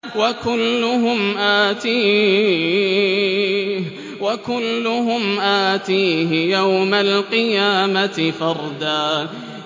وَكُلُّهُمْ آتِيهِ يَوْمَ الْقِيَامَةِ فَرْدًا